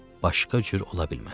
Başqa cür ola bilməz.